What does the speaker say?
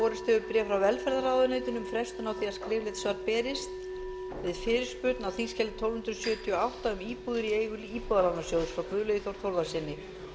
borist hefur bréf frá velferðarráðuneytinu um frestun á því að skriflegt svar berist við fyrirspurn á þingskjali tólf hundruð sjötíu og átta um íbúðir í eigu íbúðalánasjóðs frá guðlaugi þór þórðarsyni